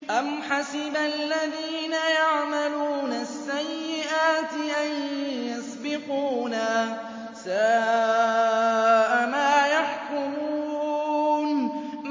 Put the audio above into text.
أَمْ حَسِبَ الَّذِينَ يَعْمَلُونَ السَّيِّئَاتِ أَن يَسْبِقُونَا ۚ سَاءَ مَا يَحْكُمُونَ